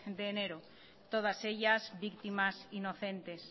de enero todas ellas víctimas inocentes